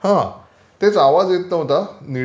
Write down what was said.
हां. तेच आवाज येत नव्हता